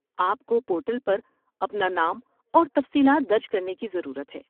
آپ کو پورٹل پر اپنا نام اور تفصیلات درج کرنے کی ضرورت ہے۔